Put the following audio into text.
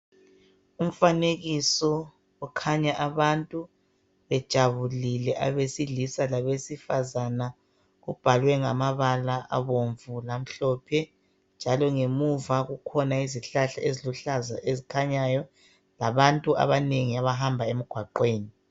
Umfanekiso okhanya abantu bejabulile abesilisa labesifazana. Ubhalwe ngamabala abomvu lamhlophe njalo ngemuva kukhona izihlahla eziluhlaza ezikhanyayo labantu abanengi abahamba emgwaqweni.